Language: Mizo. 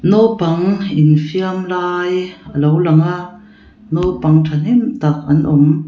naupang infiam lai alo langa naupang ṭhahnem tak an awm.